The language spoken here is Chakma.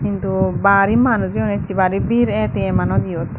hindu bari manuj oyon essey bari bir A_T_M anot yot.